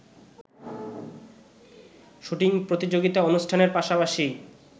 shooting প্রতিযোগিতা অনুষ্ঠানের পাশাপাশি